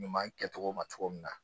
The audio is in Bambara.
Ɲuman kɛcogo ma cogo min na